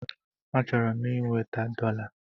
Achọrọ m inweta dọla.